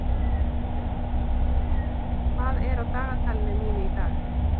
Emely, hvað er á dagatalinu mínu í dag?